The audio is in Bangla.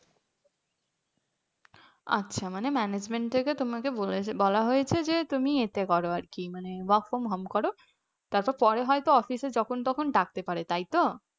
আচ্ছা মানে management থেকে বলেছে তোমাকে বলা হয়েছে যে তুমি ইয়েতে কর আর কি মানে work from home করো তারপরে পরে হয়তো অফিসে যখন তখন ডাকতে পারে তাইতো?